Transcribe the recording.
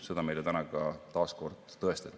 Seda meile täna taas kord tõestati.